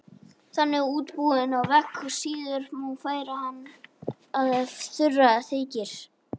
Þannig útbúin á vegg að síðar má færa hana ef þurfa þykir.